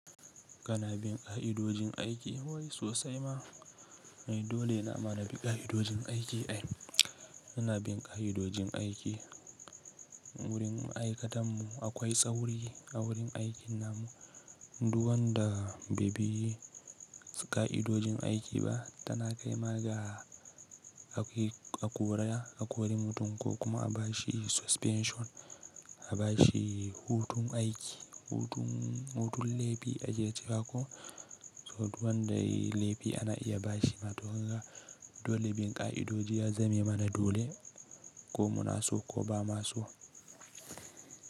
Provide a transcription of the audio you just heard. Kana bin ƙa'idojin aiki wai sosai ma? Dole na mana bi ƙa'idojin aiki ai. Kana bin ƙa'idojin aiki wurin ma'aikatan mu akwai tsauri a wurin aikin namu. Duk wanda bai bi ƙa'idojin aiki ba tana kai ma ga a kore a wurin hutun ko kuma a bashi suspension, a bashi hutun aiki, hutun lefi ajiye cika ko. So duk wanda ya yi laifi ana iya bashi matuka. Dole bin ƙa'idoji ya zame mana dole ko muna so ko ba ma so.